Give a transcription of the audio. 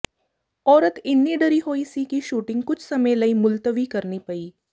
ਔਰਤ ਇੰਨੀ ਡਰੀ ਹੋਈ ਸੀ ਕਿ ਸ਼ੂਟਿੰਗ ਕੁਝ ਸਮੇਂ ਲਈ ਮੁਲਤਵੀ ਕਰਨੀ ਪਈ